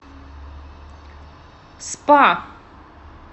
спа